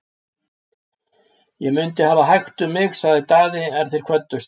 Ég mundi hafa hægt um mig, sagði Daði er þeir kvöddust.